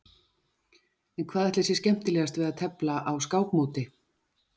En hvað ætli sé skemmtilegast við að tefla á skákmóti?